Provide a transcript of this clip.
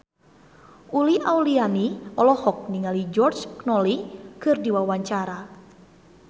Uli Auliani olohok ningali George Clooney keur diwawancara